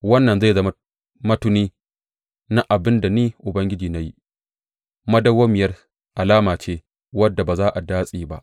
Wannan zai zama matuni na abin da Ni Ubangiji na yi, madawwamiyar alama ce, wadda ba za a datse ba.